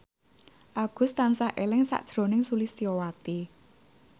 Agus tansah eling sakjroning Sulistyowati